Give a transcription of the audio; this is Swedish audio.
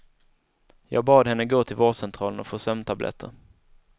Jag bad henne gå till vårdcentralen och få sömntabletter.